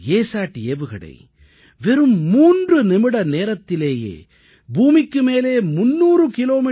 ஆனால் அசாட் ஏவுகணை வெறும் 3 நிமிட நேரத்திலேயே பூமிக்கு மேலே 300 கி